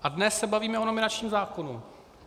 A dnes se bavíme o nominačním zákonu.